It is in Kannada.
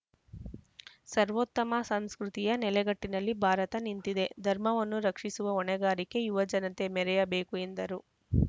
ಸರ್ವೋತ್ತಮ ಸಂಸ್ಕೃತಿಯ ನೆಲಗಟ್ಟಿನಲ್ಲಿ ಭಾರತ ನಿಂತಿದೆ ಧರ್ಮವನ್ನು ರಕ್ಷಿಸುವ ಹೊಣೆಗಾರಿಕೆ ಯುವಜನತೆ ಮೆರೆಯಬೇಕು ಎಂದರು